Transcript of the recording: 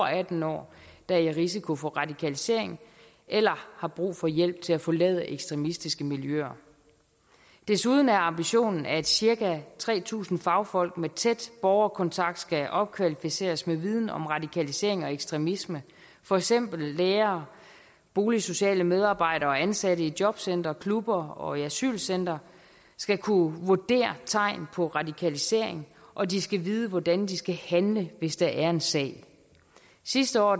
atten år der er i risiko for radikalisering eller har brug for hjælp til at forlade ekstremistiske miljøer desuden er ambitionen at cirka tre tusind fagfolk med tæt borgerkontakt skal opkvalificeres med viden om radikalisering og ekstremisme for eksempel lærere boligsociale medarbejdere og ansatte i jobcentre klubber og i asylcentre skal kunne vurdere tegn på radikalisering og de skal vide hvordan de skal handle hvis der er en sag sidste år